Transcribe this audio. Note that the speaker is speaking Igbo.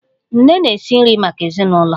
Nne na-esi nri maka ezinụlọ